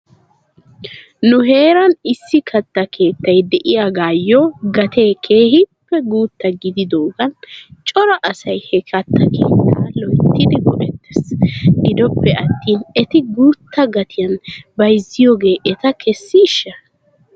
Nu heeran issi katta keettay de'iyaagaayyo gatee keehippe guutta gididaagan cora asay he katta keettaa loyttidi go'ettes. Gidoppiyaattin eti guutta gatiyan bayzziyoogee eta kessiishsha?